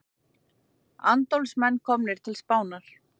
Andófsmenn komnir til Spánar